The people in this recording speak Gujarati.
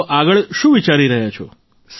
તો આગળ શું વિચારી રહ્યા છો